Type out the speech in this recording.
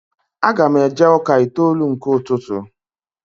Aga m eje ụka itoolu nke ụtụtụ